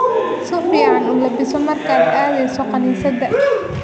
Si fiican u labbiso markaad aadayso kaniisadda